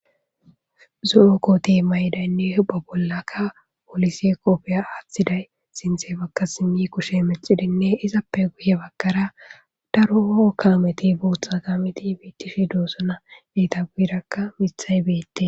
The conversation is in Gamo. Zu,okkote maydaynne huba bollaka polise qopfiya aaththiday sinthe bakka simi kushe mexidinne izappe guye bakkara daroo kaameti bootha kaameti biittishi doossana beeta guirakka mithay beette.